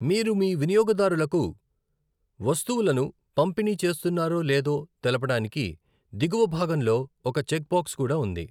మీరు మీ వినియోగదారులకు వస్తువులను పంపిణీ చేస్తున్నారో లేదో తెలుపడానికి దిగువ భాగంలో ఒక చెక్బాక్స్ కూడా ఉంది.